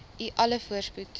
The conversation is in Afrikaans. u alle voorspoed